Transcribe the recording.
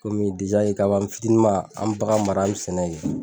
kabi an fitinin man an be bagan mara an be sɛnɛ kɛ.